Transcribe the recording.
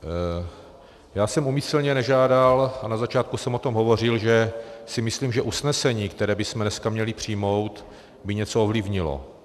Já jsem úmyslně nežádal - a na začátku jsem o tom hovořil, že si myslím , že usnesení, které bychom dneska měli přijmout, by něco ovlivnilo.